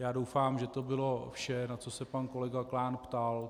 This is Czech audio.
Já doufám, že to bylo vše, na co se pan kolega Klán ptal.